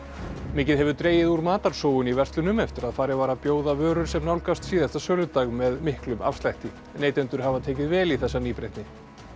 mikið hefur dregið úr matarsóun í verslunum eftir að farið var að bjóða vörur sem nálgast síðasta söludag með miklum afslætti neytendur hafa tekið vel í þessa nýbreytni